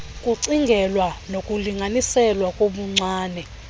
kucingelwa ukulinganiselwa kobuncwane